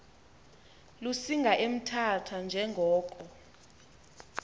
lusinga emthatha njengoko